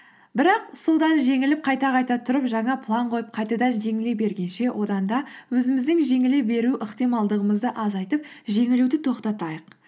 бірақ содан жеңіліп қайта қайта тұрып жаңа план қойып қайтадан жеңіле бергенше одан да өзіміздің жеңіле беру ықтималдығымызды азайтып жеңілуді тоқтатайық